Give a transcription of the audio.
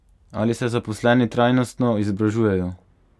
Ali se zaposleni trajnostno izobražujejo?